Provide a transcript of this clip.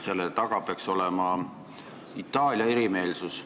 Selle taga peaks olema Itaalia erimeelsus.